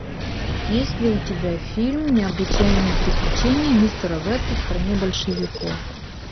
есть ли у тебя фильм необычайные приключения мистера веста в стране большевиков